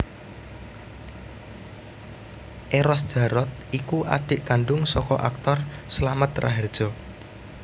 Eros Djarot iku adik kandung saka aktor Slamet Rahardjo